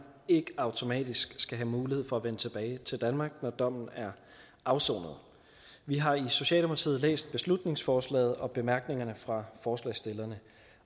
ikke automatisk skal have mulighed for at vende tilbage til danmark når dommen er afsonet vi har i socialdemokratiet læst beslutningsforslaget og bemærkningerne fra forslagsstillerne